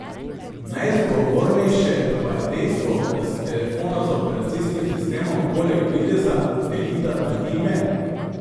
Najzgovornejše pa je dejstvo, da si telefona z operacijskim sistemom poleg videza delita tudi ime.